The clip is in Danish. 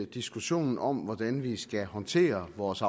diskussionen om hvordan vi skal håndtere vores